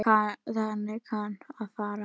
Þannig kann að fara.